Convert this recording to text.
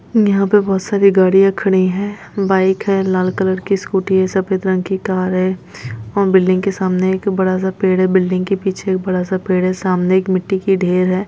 यहां पर बहुत सारी गाडियाँ खडी है बाइक है लाल कलर कि स्कूटी है सफ़ेद कलर की कार है बिल्डिंग के सामने एक बडा सा पेड़ है बिल्डिंग के पीछे एक बड़ा सा पेड़ है सामने एक मट्टी की ढेर है।